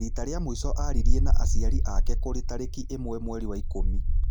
Rita rĩa mũico aririe na acĩari ake kũrĩ tarĩki ĩmwe mweri wa ikũmi.